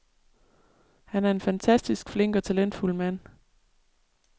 Han er en fantastisk flink og talentfuld mand.